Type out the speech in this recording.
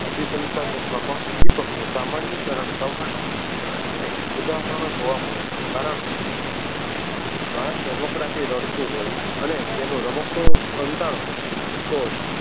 અભિસંસાધન માં પણ ઉદીપક નું સામાનીકરણ થવાના અને ઉદાહરણો જોવા મળે છે કારણકે બાળક રમકડાં થી રડતું હોય અને તેનું રમકડું સંતાડો તો